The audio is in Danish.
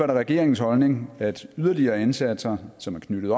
det regeringens holdning at yderligere indsatser som er knyttet